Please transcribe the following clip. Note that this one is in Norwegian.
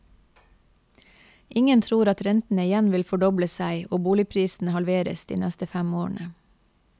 Ingen tror at rentene igjen vil fordoble seg og boligprisene halveres de neste fem årene.